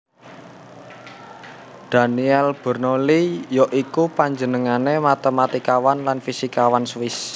Daniel Bernoulli ya iku panjenengané matematikawan lan fisikawan Swiss